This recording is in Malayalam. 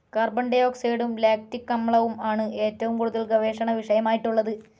കാർബൺ ഡി ഓക്സൈഡും ലാക്റ്റിക്‌ അമ്ലവും ആണ്‌ ഏറ്റവും കൂടുതൽ ഗവേഷണ വിഷയമായിട്ടുള്ളത്‌